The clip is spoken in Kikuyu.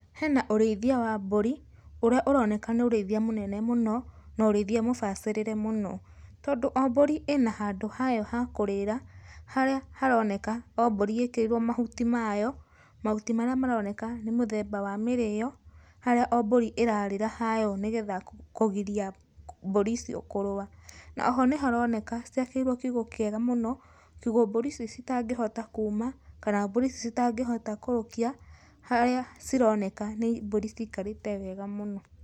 Hena ũrĩithia wa mbũri, ũrĩa ũroneka nĩ ũrĩithia mũnene mũno na ũrĩithia mũbacĩrĩre mũno. Tondũ o mbũri ĩna handũ hayo ha kũrĩra, harĩa haroneka o mbũri ĩkĩrĩirwo mahuti mayo, mahuti marĩa maroneka nĩ mũthemba wa mĩrĩyo, harĩa o mbũri ĩrarĩra hayo nĩgetha kũgiria mbũri icio kũrũa. Na oho nĩharoneka ciakĩirwo kiugũ kĩega mũno, kiugũ mbũri ici citangĩhota kuuma kana mbũri ici citangĩhota kũrũkia, harĩa cironeka nĩ mbũri cikarĩte wega mũno.